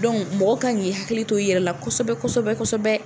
mɔgɔ kan k'i hakili t'o i yɛrɛ la kɔsɛbɛ kɔsɛbɛ kɔsɛbɛ.